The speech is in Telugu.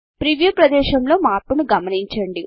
ప్రీవ్యూ ప్రదేశములో మార్పును గమనించండి